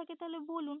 থেকে থাকে তো বলুন